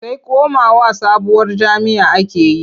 Sai komawa sabuwar jam'iyya ake yi.